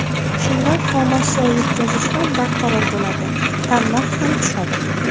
Shunda xomashyo yetkazish ham barqaror bo‘ladi, tannarx ham tushadi.